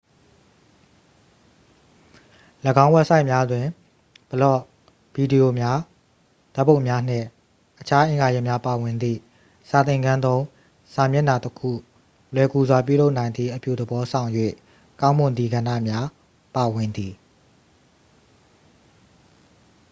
၎င်း ဝက်ဆိုက်များတွင် ဘလော့ ဗီဒီရိုများ ဓာတ်ပုံများ နှင့် အခြားအင်္ဂါရပ်များ ပါဝင်သည့် စာသင်ခန်းသုံး စာမျက်နှာတစ်ခု လွယ်ကူစွာ ပြုလုပ်နိုင်သည့် အပြုသဘောဆောင်၍ ကောင်းမွန်သည့် ကဏ္ဍများ ပါဝင်သည်